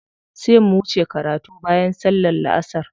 Sai mu wuce karatu bayan sallar la'asar.